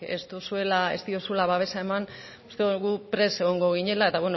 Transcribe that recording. ez diozula babesa eman uste dugu guk prest egongo ginela eta